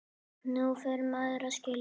Nú fer maður að skilja!